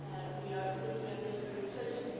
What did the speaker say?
We are looking at this very closely.